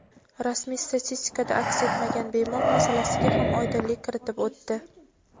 rasmiy statistikada aks etmagan bemor masalasiga ham oydinlik kiritib o‘tdi.